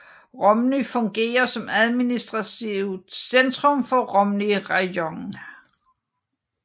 Romny fungerer som administrativt centrum for Romny rajon